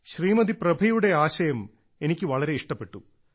ശ്രീമതി പ്രഭയുടെ ആശയം എനിക്ക് വളരെ ഇഷ്ടപ്പെട്ടു